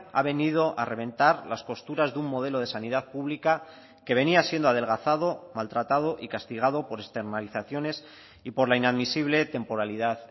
ha venido a reventar las costuras de un modelo de sanidad pública que venía siendo adelgazado maltratado y castigado por externalizaciones y por la inadmisible temporalidad